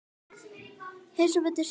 Helst beint.